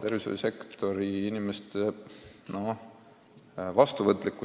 Tervishoiusektori inimeste valmisolek